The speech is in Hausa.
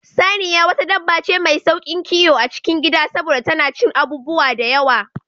Saniya wata dabba ce mai sauƙin kiwo a cikin Gida saboda tana cin abubuwa da yawa